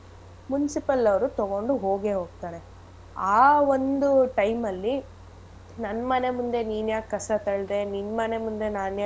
Municipal ಅವ್ರು ತೊಗೊಂಡ್ ಹೋಗೇ ಹೋಗ್ತಾರೆ ಆ ಒಂದು time ಅಲ್ಲಿ ನನ್ ಮನೆ ಮುಂದೆ ನೀನ್ಯಾಕ್ ಕಸ ತಳ್ದೆ ನಿನ್ ಮನೆ ಮುಂದೆ ನಾನ್ ಯಾಕ್.